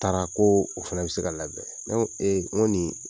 N taara ko o fana bɛ se ka labɛn ne ko n ko nin